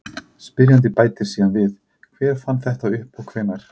Spyrjandi bætir síðan við: Hver fann þetta upp og hvenær?